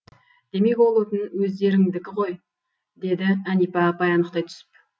демек ол отын өздеріңдікі ғой деді әнипа апай анықтай түсіп